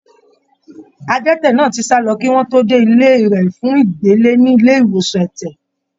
Adẹ́tẹ̀ náà ti sálọ kí wọ́n tó dé ilé rẹ̀ fún ìgbélé ní ilé ìwòsàn ẹ̀tẹ̀.